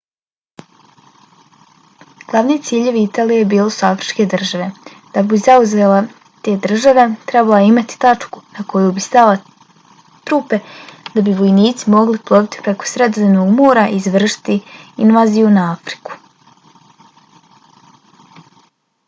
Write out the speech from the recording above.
glavni ciljevi italije bile su afričke države. da bi zauzela te države trebala je imati tačku na koju bi slala trupe da bi vojnici mogli ploviti preko sredozemnog mora i izvršiti invaziju na afriku